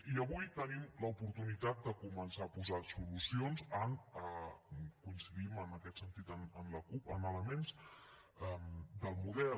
i avui tenim l’oportunitat de començar a posar solucions coincidim en aquest sentit amb la cup en elements del model